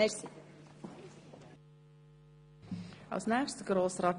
Es wurde schon viel gesagt.